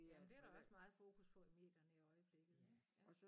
Jamen det der også meget fokus på i medierne i øjeblikket ik ja